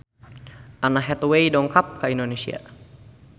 Anne Hathaway dongkap ka Indonesia